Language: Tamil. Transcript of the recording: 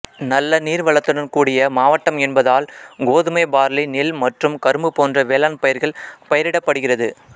நல்ல நீர் வளத்துடன் கூடிய மாவட்டம் என்பதால் கோதுமை பார்லி நெல் மற்றும் கரும்பு போன்ற வேளாண் பயிர்கள் பயிரிடப்படுகிறது